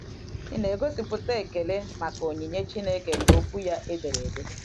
Ị̀ na - egosipụta ekele maka onyinye Chineke bụ́ Okwu ya e dere ede?